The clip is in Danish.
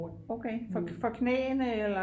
for knæene eller?